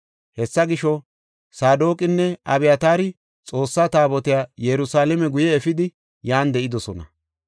Hessa gisho, Saadoqinne Abyataari Xoossa Taabotiya Yerusalaame guye efidi yan de7idosona.